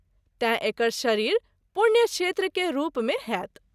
तैँ एकर शरीर पुण्य क्षेत्र के रूप मे होएत।